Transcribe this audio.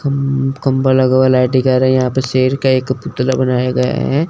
खंब खंभा लगा हुआ है लाइट दिखा रहे हैं यहां पर शेर का एक पुतला बनाया गया है।